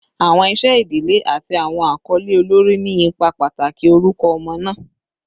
Awọn iṣẹ idile ati awọn akọle olori ni ipa pataki orukọ ọmọ naa